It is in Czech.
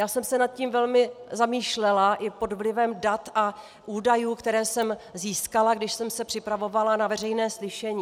Já jsem se nad tím velmi zamýšlela i pod vlivem dat a údajů, které jsem získala, když jsem se připravovala na veřejné slyšení.